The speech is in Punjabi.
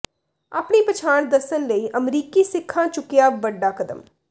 ਆਪਣੀ ਪਛਾਣ ਦੱਸਣ ਲਈ ਅਮਰੀਕੀ ਸਿੱਖਾਂ ਚੁੱਕਿਆ ਵੱਡਾ ਕਦਮ